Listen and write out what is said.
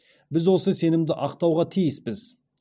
біз осы сенімді ақтауға тиіспіз